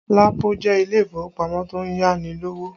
Lapo jẹ́ ilé ìfowópamọ́ tó ń yá ni lówó